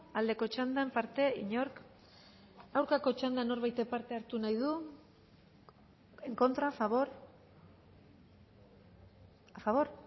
aldeko txandan parte inork aurkako txandan norbaitek parte hartu nahi du en contra a favor a favor